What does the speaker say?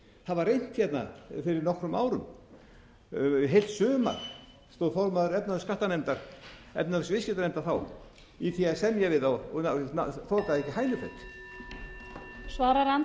að breyta þessu það var reynt hérna fyrir nokkrum árum heilt sumar stóð formaður efnahags og skattanefndar efnahags og viðskiptanefndar þá í því að semja við þá og það þokaðist ekki hænufet